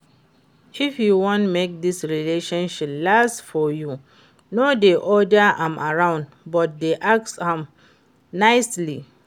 If you want make dis relationship last for you, no dey order am around but dey ask am nicely